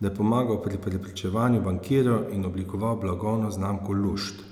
da je pomagal pri prepričevanju bankirjev in oblikoval blagovno znamko Lušt.